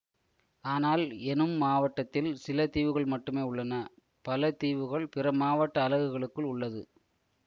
ஆனால் எனும் மாவட்டத்தில் சில தீவுகள் மட்டுமே உள்ளன பல தீவுகள் பிற மாவட்ட அலகுகளுக்குள் உள்ளது